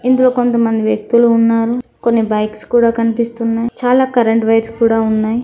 ఇందులో కొంతమంది వ్యక్తులు ఉన్నారు. కొన్ని బైక్స్ కూడా కనిపిస్తున్నాయి. చాలా కరెంట్ వైర్స్ కూడా ఉన్నాయి.